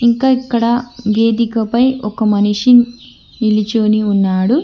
ఇంకా ఇక్కడ వేదికపై ఒక మనిషి నిలుచొని ఉన్నాడు.